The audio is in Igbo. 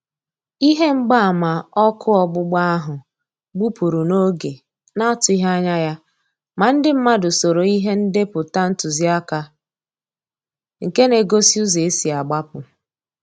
Ihe mgba ama ọkụ ọgbụgba áhụ́ gbụ́pụ́rụ̀ n'oge na-àtụ́ghị́ ányà ya, mà ndị mmàdụ̀ soòrò ìhè ndépụ̀tà ntụziaka nké na-égósí ụ́zọ́ ésí àgbapụ